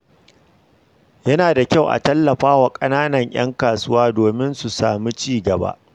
Yana da kyau a tallafa wa ƙananan ƴan kasuwa domin su sami ci gaba.